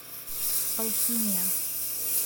алхимия